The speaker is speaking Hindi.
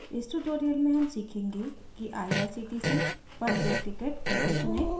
इस tutorial में how सीखेंगे कि irctc पर एक ticket कैसे चुनें